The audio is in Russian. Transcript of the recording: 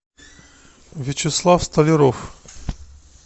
вячеслав столяров